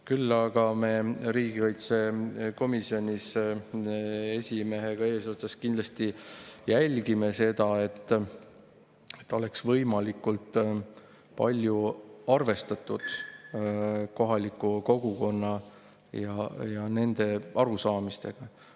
Küll aga me riigikaitsekomisjonis esimehega eesotsas kindlasti jälgime, et oleks võimalikult palju arvestatud kohaliku kogukonna ja nende arusaamistega.